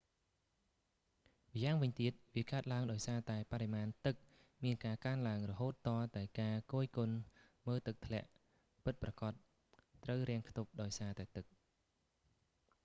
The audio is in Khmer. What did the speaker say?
ម្យ៉ាងវិញទៀត វាកើតឡើងដោយសារតែបរិមាណទឹកមានការកើនឡើងរហូតទាល់តែការគយគន់មើលទឹកធ្លាក់ពិតប្រាកដត្រូវរាំងខ្ទប់ ដោយសារតែទឹក